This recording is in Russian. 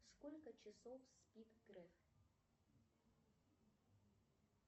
сколько часов спит греф